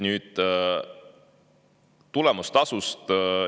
Nüüd tulemustasust.